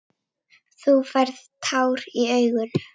Þú færð tár í augun.